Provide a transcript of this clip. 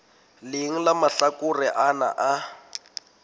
leng la mahlakore ana a